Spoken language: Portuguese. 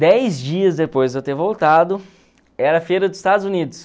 Dez dias depois de eu ter voltado, era a feira dos Estados Unidos.